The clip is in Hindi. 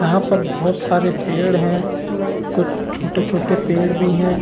यहाँ पर बहुत सारे पेड़ हैं कुछ छोटे-छोटे पेड़ भी हैं।